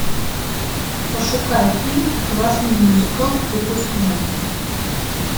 пошукай фильм классный мюзикл выпускной